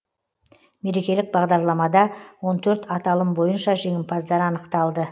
мерекелік бағдарламада он төрт аталым бойынша жеңімпаздар анықталды